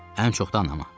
Ən çox da anama.